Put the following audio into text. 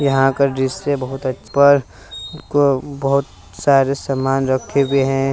यहां पर को बहोत सारे समान रखे हुए हैं।